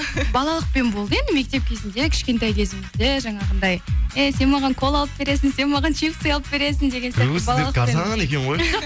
балалықпен болды енді мектеп кезінде кішкентай кезімізде жаңағындай эй сен маған кола алып бересің сен маған чипсы алып бересің деген арзан екен ғой